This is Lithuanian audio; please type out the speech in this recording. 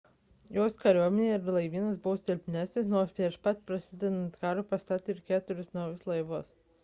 jos kariuomenė ir laivynas buvo silpnesni nors prieš pat prasidedant karui pastatė keturis naujus laivus